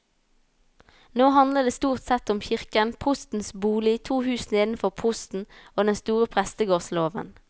Nå handler det stort sett om kirken, prostens bolig, to hus nedenfor prosten og den store prestegårdslåven.